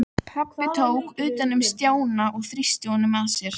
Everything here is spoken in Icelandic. Pabbi tók utan um Stjána og þrýsti honum að sér.